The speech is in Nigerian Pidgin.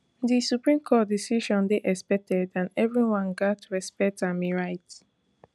di supreme court decision dey expected and evri one gatz respect am e write